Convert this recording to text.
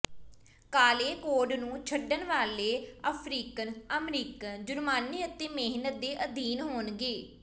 ਕਾਲੇ ਕੋਡ ਨੂੰ ਛਡਣ ਵਾਲੇ ਅਫ਼ਰੀਕਨ ਅਮਰੀਕਨ ਜੁਰਮਾਨੇ ਅਤੇ ਮਿਹਨਤ ਦੇ ਅਧੀਨ ਹੋਣਗੇ